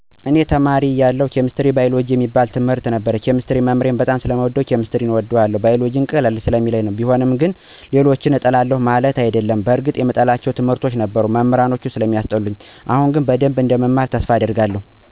እኔ ተማሪ እያለሁ ኬሚስትሪ አና ባይወሎጀጂ የሚባሉትን ትምርቶች ነበር። ኬሚስትሪን መምህሬን በጣም ስለምወደው ነው ኬሚስትሪን የምወደው። ባይወሎጂን ግን ስነበው ቀለል ስለሚለኝ ነው። ቢሆንም ግን ሌሎችን እጠላለሁ ማለት አይደለም። በርግጥ የምጠላቸው ትምህርቶች ነበሩ። ግን አሁን ላይ ሳስበው ልክ አልነበርኩም። አሁን ላይ ብማራቸው በደንብ እንደምማራቸው ተስፋ አደርጋለሁ። ምጠላቸው መሞህሮች ስለነበሩ ነው ትምርቶችን የማልወዳቸው።